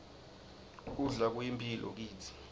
kudla kuyimphilo kitsi